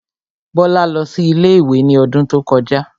Bọ́lá lọ sí ilé-ìwé ní odún tó kọjá